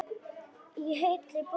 Í heilli bók.